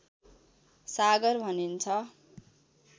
सागर भनिन्छ